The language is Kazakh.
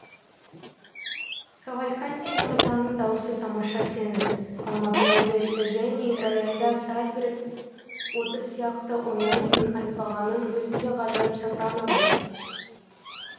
кавальканти мырзаның даусы тамаша тенор ал мадемуазель эжени рояльда тальберг отыз сияқты ойнайтынын айтпағанның өзінде ғажайып сопрано ғой